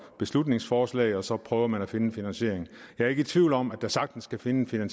beslutningsforslag og så prøver man at finde en finansiering jeg er ikke i tvivl om at der sagtens kan findes en